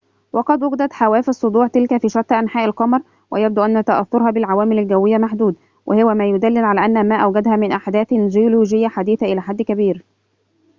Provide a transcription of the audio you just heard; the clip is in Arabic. وقد وجدت حواف الصدوع تلك في شتى أنحاء القمر ويبدو أن تأثرها بالعوامل الجوية محدود وهو ما يدلل على أن ما أوجدها من أحداثٍ جيولوجية حديثة إلى حد كبير